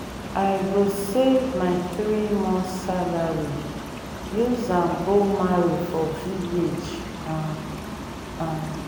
i go save my three months salary use go marry for village. um um